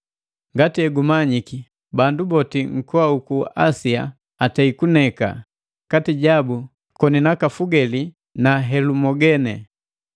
Ngati egumanyiki, bandu boti nkoa uku Asia aneili, kati jabu koni naka Fugeli na Helumogene.